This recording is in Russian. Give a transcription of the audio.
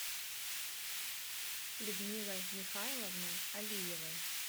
людмилой михайловной алиевой